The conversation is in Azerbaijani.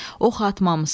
Ox atmamısan.